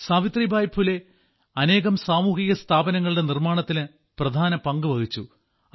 സാവിത്രിബായി ഫുലെ അനേകം സാമൂഹിക സ്ഥാപനങ്ങളുടെ നിർമ്മാണത്തിന് പ്രധാന പങ്കുവഹിച്ചു